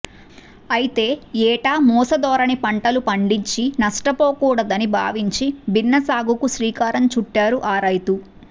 అయితే ఏటా మూసధోరణి పంటలు పండించి నష్టపోకూడదని భావించి భిన్న సాగుకు శ్రీకారం చుట్టారు ఆ రైతు